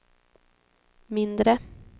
mindre